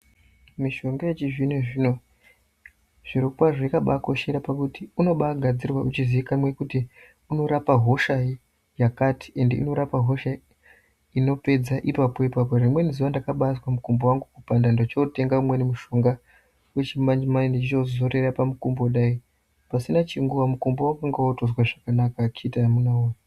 Mishonga yechizvino zvino zviro kwazvo yakabakoshera pakuti unobagadzirwa uchizikanwa kuti unorapa hosha yakati ende inorapa hosha inopedza ipapo ipapo .Rimweni zuwa ndakabazwe mukumbo wangu kupanda ndochotenga mushonga wachimanje manje ndochozorera pamukumbo pasina chinguwa mukombo wanga wakuzwe zvakanaka akiti woye.